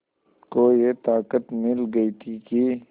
को ये ताक़त मिल गई थी कि